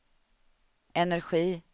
energi